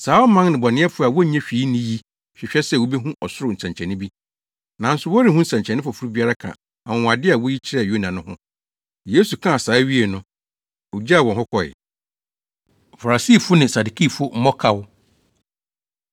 Saa ɔman nnebɔneyɛfo a wonnye hwee nni yi hwehwɛ sɛ wobehu ɔsoro nsɛnkyerɛnne bi, nanso wɔrenhu nsɛnkyerɛnne foforo biara ka anwonwade a woyi kyerɛɛ Yona no ho.” Yesu kaa saa wiee no, ogyaw wɔn hɔ kɔe. Farisifo Ne Sadukifo Mmɔkaw